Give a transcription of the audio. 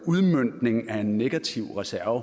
udmøntning af en negativ reserve